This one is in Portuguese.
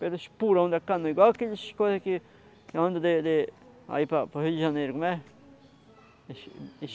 Pelo espurão da canoa, igual aqueles coisas que andam de de aí para o Rio de Janeiro, como é?